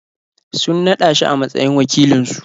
Sun naɗa shi a matsayin wakilinsu.